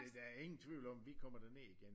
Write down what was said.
Men der er ingen tvivl om vi kommer derned igen